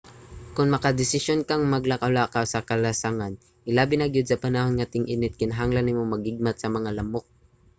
kon makadesisyon kang maglakaw-lakaw sa kalasangan hilabi na gyud sa panahon nga ting-init kinahanglan nimo mag-igmat sa mga lamok